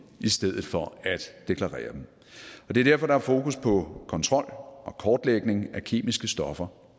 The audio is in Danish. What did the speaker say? i stedet for at deklarere dem det er derfor der er fokus på kontrol og kortlægning af kemiske stoffer